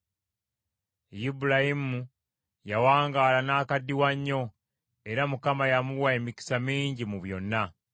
Ibulayimu yawangaala n’akaddiwa nnyo; era Mukama yamuwa emikisa mingi mu byonna.